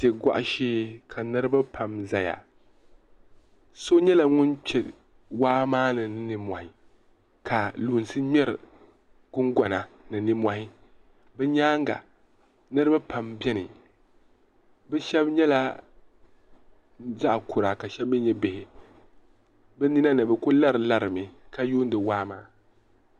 wa' gɔgu shee ka niriba pam ʒiya so nyɛla ŋun kpe waa maani ni ninmɔhi ka lunsi ŋmeri guŋgɔna ni ninmɔhi bɛ nyaaga niriba pam beni bɛ shɛba nyɛla zaɣ' kura ka shɛba mi nyɛ bihi bɛ nina ni bɛ kuli larilari mi ka yuundi waa maa.